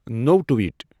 نٔو ٹُوِیٹ ۔